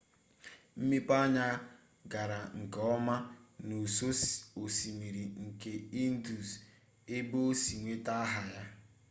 mmepeanya gara nke ọma n'ụsọ osimiri nke indus ebe o si nweta aha ya